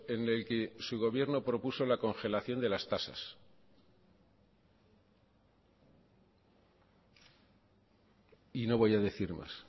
en el que su gobierno propuso la congelación de las tasas y no voy a decir más